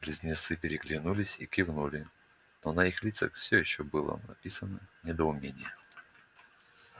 близнецы переглянулись и кивнули но на их лицах всё ещё было написано недоумение